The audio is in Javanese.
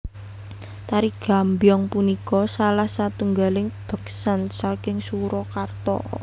Tari Gambyong punika salah satunggaling beksan saking Surakarta